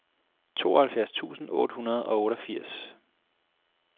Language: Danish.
tooghalvfjerds tusind otte hundrede og otteogfirs